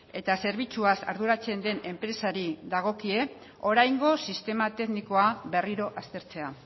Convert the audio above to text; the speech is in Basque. eta zerbitzuaz arduratzen den enpresari dagokie oraingo sistema teknikoa berriro aztertzea